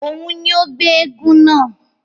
Òún ní o gbé èègún náà